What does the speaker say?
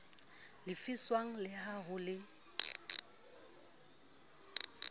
lefiswang le ha ho le